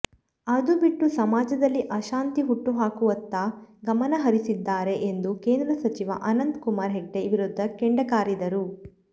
ಅದು ಬಿಟ್ಟು ಸಮಾಜದಲ್ಲಿ ಅಶಾಂತಿ ಹುಟ್ಟುಹಾಕುವತ್ತ ಗಮನ ಹರಿಸಿದ್ದಾರೆ ಎಂದು ಕೇಂದ್ರ ಸಚಿವ ಅನಂತ ಕುಮಾರ್ ಹೆಗಡೆ ವಿರುದ್ಧ ಕೆಂಡಕಾರಿದರು